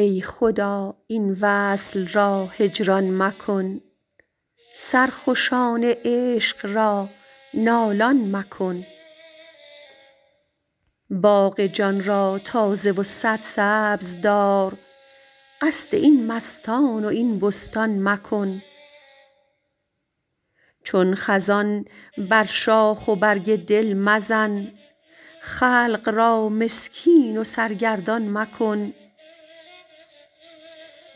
ای خدا این وصل را هجران مکن سرخوشان عشق را نالان مکن باغ جان را تازه و سرسبز دار قصد این مستان و این بستان مکن چون خزان بر شاخ و برگ دل مزن خلق را مسکین و سرگردان مکن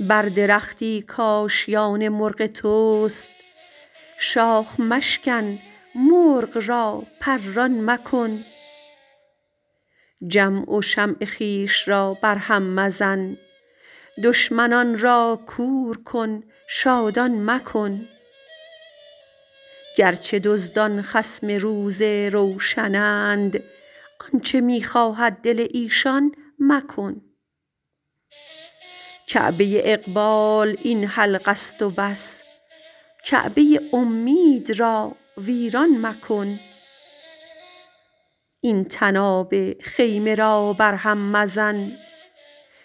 بر درختی کآشیان مرغ توست شاخ مشکن مرغ را پران مکن جمع و شمع خویش را برهم مزن دشمنان را کور کن شادان مکن گرچه دزدان خصم روز روشنند آنچ می خواهد دل ایشان مکن کعبه اقبال این حلقه است و بس کعبه امید را ویران مکن این طناب خیمه را برهم مزن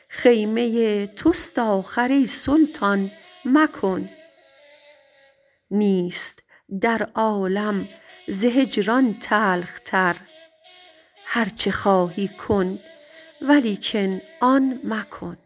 خیمه توست آخر ای سلطان مکن نیست در عالم ز هجران تلخ تر هرچه خواهی کن ولیکن آن مکن